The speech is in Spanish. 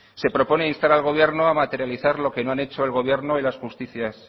se proponer a instar al gobierno a materializar lo que han hecho el gobierno y las justicias